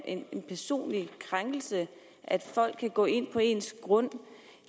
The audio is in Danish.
en personlig krænkelse at folk kan gå ind på ens grund